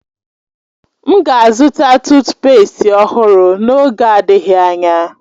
M ga-azụta tuutpestị ọhụrụ n'oge adịghị anya.